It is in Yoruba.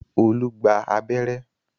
Olú gba abẹ́rẹ́